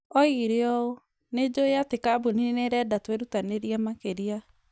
Oigire ũũ, "Nĩ njũĩ atĩ kambuni nĩ ĩrenda twĩrutanĩrie makĩria,